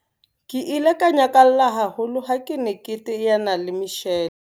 Ke ile ka nyakalla haholo ha ke ne ke teana le Michelle.